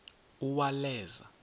uwaleza